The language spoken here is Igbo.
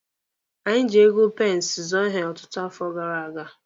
Anyị ji ego pensi zụọ ihe ọtụtụ afọ gara aga.